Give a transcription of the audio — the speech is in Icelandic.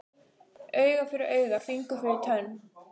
Auga fyrir auga, fingur fyrir tönn.